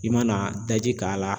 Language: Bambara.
I mana daji k'a la.